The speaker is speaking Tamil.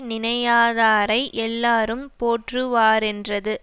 நினையாதாரை எல்லாரும் போற்றுவாரென்றது